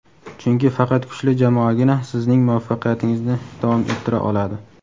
chunki faqat kuchli jamoagina sizning muvaffaqiyatingizni davom ettira oladi.